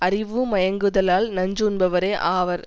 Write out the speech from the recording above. அறிவுமயங்குதலால் நஞ்சு உண்பவரே ஆவர்